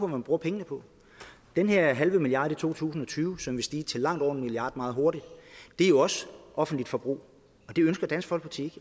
man bruger pengene på den her halve milliard i to tusind og tyve som vil stige til langt over en milliard kroner meget hurtigt er jo også offentligt forbrug og det ønsker dansk folkeparti